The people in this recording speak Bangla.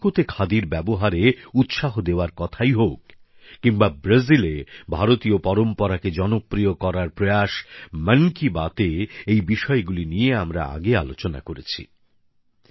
মেক্সিকোতে খাদির ব্যবহারে উৎসাহ দেওয়ার কথাই হোক কিংবা ব্রাজিলে ভারতীয় পরম্পরাকে জনপ্রিয় করার প্রয়াস মন কি বাত এ এই বিষয়গুলি নিয়ে আমরা আগে আলোচনা করেছি